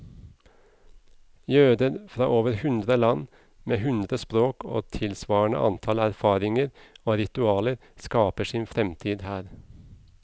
Jøder fra over hundre land, med hundre språk og tilsvarende antall erfaringer og ritualer, skaper sin fremtid her.